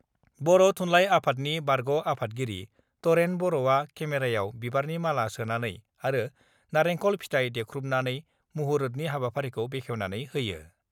बर' थुनलाइ आफादनि बारग' आफादगिरि तरेन बर'आ केमेरायाव बिबारनि माला सोनानै आरो नारेखल फिथाइ देख्रुबनानै मुहुरतनि हाबाफारिखौ बेखेवनानै होयो।